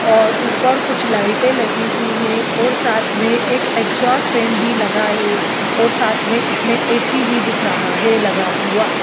और ऊपर कुछ लाइटे लगी हुई हैं और साथ में एक एग्जॉस्ट फैन भी लगा हुआ हैं और साथ में इसके ऐसी भी दिख रहा हैं।